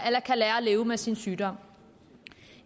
eller kan lære at leve med sin sygdom